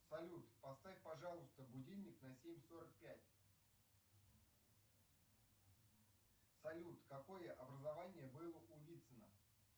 салют поставь пожалуйста будильник на семь сорок пять салют какое образование было у вицина